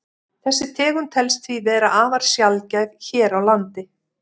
Þessi tegund telst því vera afar sjaldgæf hér á landi.